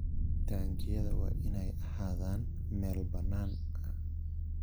Taangiyada waa inay ahaadaan meel bannaan.